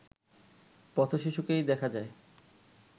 পথ-শিশুকেই দেখা যায়